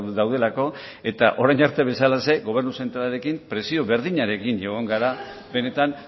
daudelako eta orain arte bezala gobernu zentralarekin presio berdinarekin egon gara benetan